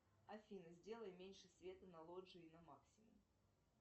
афина сделай меньше света на лоджии на максимум